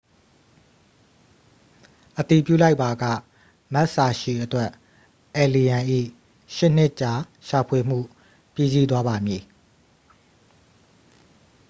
အတည်ပြုလိုက်ပါက မက်စ်စာရှီအတွက် အယ်လီရန်၏ ရှစ်နှစ်ကြာရှာဖွေမှု ပြီးစီးသွားပါမည်